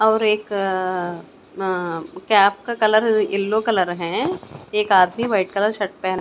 और एक अह कैब का कलर येलो कलर है एक आदमी व्हाइट कलर का शर्ट पहना--